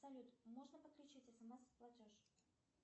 салют можно подключить смс платеж